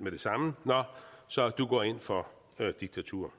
med det samme nå så du går ind for diktatur